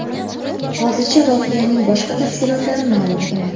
Hozircha voqeaning boshqa tafsilotlari ma’lum emas.